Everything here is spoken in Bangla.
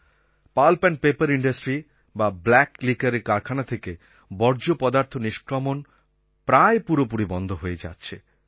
পাল্প এন্ড পেপার ইন্ডাস্ট্রি বাblack liquorএর কারখানা থেকে বর্জ্য পদার্থ নিষ্ক্রমণ প্রায় পুরোপুরি বন্ধ হয়ে যাচ্ছে